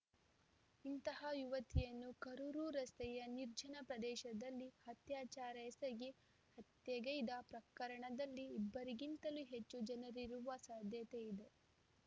ಇಂತಹ ಯುವತಿಯನ್ನು ಕರೂರು ರಸ್ತೆಯ ನಿರ್ಜನ ಪ್ರದೇಶದಲ್ಲಿ ಅತ್ಯಾಚಾರ ಎಸಗಿ ಹತ್ಯೆಗೈದ ಪ್ರಕರಣದಲ್ಲಿ ಇಬ್ಬರಿಗಿಂತಲೂ ಹೆಚ್ಚು ಜನರಿರುವ ಸಾಧ್ಯತೆ ಇದೆ